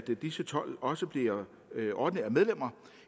disse tolv også bliver ordinære medlemmer